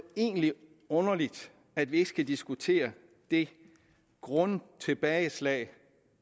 egentlig underligt at vi ikke skal diskutere det grundtilbageslag